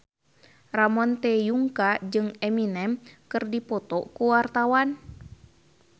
Ramon T. Yungka jeung Eminem keur dipoto ku wartawan